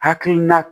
Hakilina